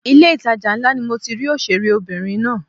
Ilé ìtajà ńlá ni mo ti rí òṣèré obìnrin náà.